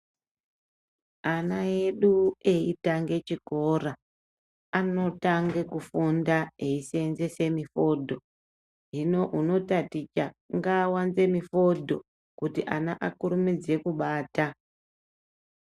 Ana edu eitange chikora, anotange kufunda eiseenzese mifodho. Hino unotaticha ngaawanze mifodho kuti ana akurumidze kubata .